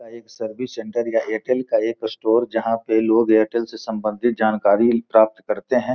एक service centre या एयरटेल का एक स्टोर जहां पे लोग एयरटेल से सम्बंधित जानकारी प्राप्त करते है।